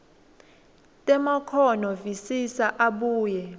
temakhono visisa abuye